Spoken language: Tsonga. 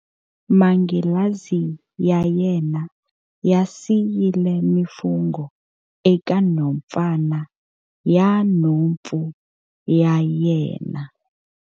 Manghilazi ya yena ya siyile mifungho eka nhompfana ya nhompfu ya yena.